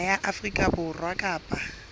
naha ya afrika borwa kapa